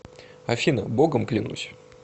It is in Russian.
афина богом клянусь